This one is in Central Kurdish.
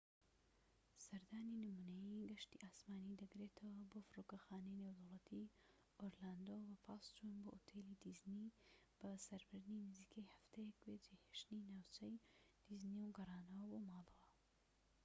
سەردانی نمونەیی گەشتی ئاسمانی دەگرێتەوەە بۆ فرۆکەخانەی نێودەوڵەتی ئۆرلاندۆ بە پاس چوون بۆ ئوتێلی دیزنی بەسەربردنی نزیکەی هەفتەیەک بێ جێهێشتنی ناوچەی دیزنی و گەڕانەوە بۆ ماڵەوە